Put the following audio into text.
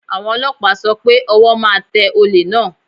Àwọn Ọlọ́pàá sọ pé ọwọ́ máa tẹ olè náà.